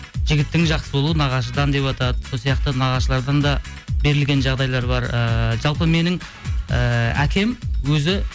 жігіттің жақсы болуы нағашыдан деватады сол сияқты нағашылардан да берілген жағдайлар бар ыыы жалпы менің ііі әкем өзі